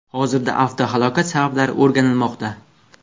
Hozirda avtohalokat sabablari o‘rganilmoqda.